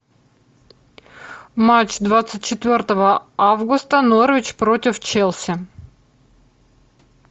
матч двадцать четвертого августа норвич против челси